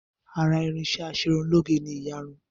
Ara irinṣẹ́ Aṣerunlóge ni ìyarun